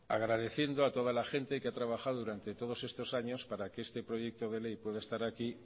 agradeciendo a toda la gente que ha trabajado durante todos estos años para que este proyecto de ley pueda estar aquí